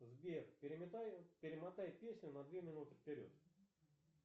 сбер перемотай песню на две минуты вперед